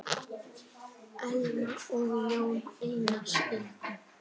Elma og Jón Einar skildu.